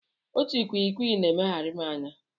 Otu ikwikwii na-emegharị m anya.